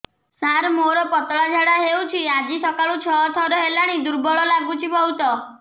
ସାର ମୋର ପତଳା ଝାଡା ହେଉଛି ଆଜି ସକାଳୁ ଛଅ ଥର ହେଲାଣି ଦୁର୍ବଳ ଲାଗୁଚି ବହୁତ